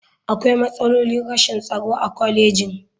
Akwai matsalolin rashin tsaro a kwalejin.